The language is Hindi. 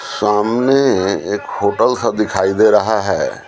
सामनेएक होटल सा दिखाई दे रहा है।